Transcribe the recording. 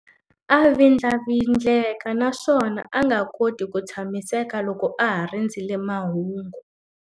A vindlavindleka naswona a nga koti ku tshamiseka loko a ha rindzerile mahungu.